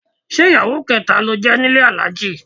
Ṣé ìyàwó kẹta ló jẹ́ nílé Alhaji?